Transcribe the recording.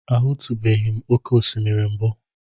Ahụtụbeghị m oké osimiri mbụ.